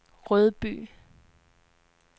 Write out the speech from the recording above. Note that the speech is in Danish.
Rødby